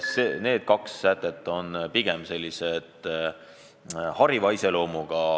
Nii et need kaks sätet on pigem hariva iseloomuga.